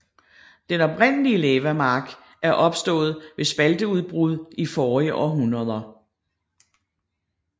Den oprindelige lavamark er opstået ved spalteudbrud i forrige århundreder